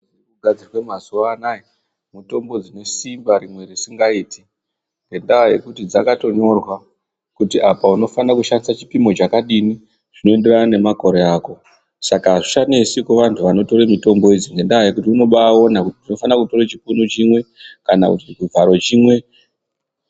Mitombo dzogadzirwe mazuwa anaa, mitombo dzine simba rimweni risingaiti. Ngendaa yekuti dzakatonyorwa kuti apa unofanira kushandisa chipimo chakadini zvinoenderana nemakore ako. Saka zvichanesi kuvanhu vanotora mitombo idzi ngendaa yekuti unobaaona kuti ndinofanira kutora chipunu chimwe kana chivharo chimwe.